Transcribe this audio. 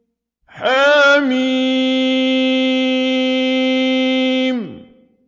حم